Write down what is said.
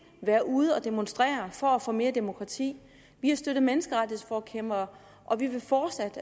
være ude at demonstrere for at få mere demokrati vi har støttet menneskerettighedsforkæmpere og vi vil fortsat